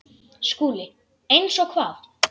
SKÚLI: Eins og hvað?